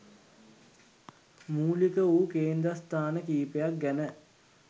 මූලික වූ කේන්ද්‍රස්ථාන කීපයක් ගැන